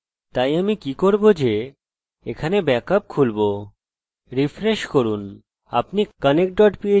refresh করুন আপনি connected dot php এবং mysql dot php দেখতে পারেন আমি mysql dot php তে টিপব